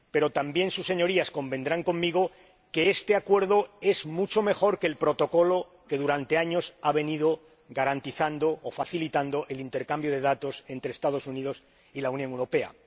Pero también sus Señorías convendrán conmigo en que este Acuerdo es mucho mejor que el Protocolo que durante años ha venido facilitando el intercambio de datos entre los Estados Unidos y la Unión Europea.